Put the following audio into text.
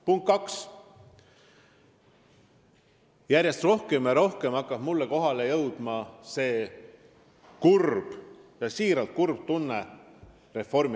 Punkt kaks: järjest rohkem ja rohkem tekitab Reformierakond minus siiralt kurba tunnet.